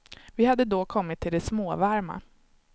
Vi hade då kommit till det småvarma.